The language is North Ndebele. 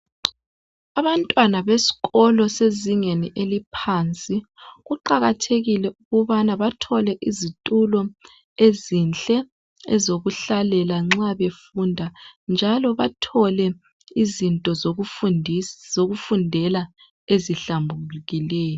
Abantwana besikolo abezingeni eliphansi kuqakathekile ukubana bathole izitulo ezinhle ezokuhlalela nxa befunda njalo bathole izinto zokufundela ezihlambulikileyo.